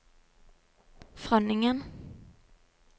Frønningen